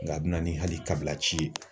Nka a bɛ na ni hali kabilaci ye